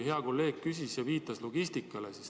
Hea kolleeg juba küsis ja viitas logistikale.